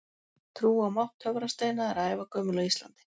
Trú á mátt töfrasteina er ævagömul á Íslandi.